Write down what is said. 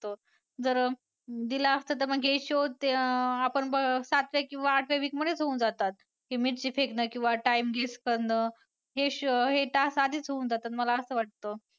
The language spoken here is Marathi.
जर दिलं असतं तर मग हे shows अं आपण बघ अं सातव्या किंवा आठव्या week मध्येच होऊन जातात. हे मिरची फेकणं किंवा time guess करणं हे task आधीच होऊन जातात मला असं वाटतं.